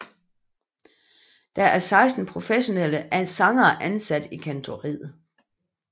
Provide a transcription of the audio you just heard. Der er 16 professionelle sangere ansat i Kantoriet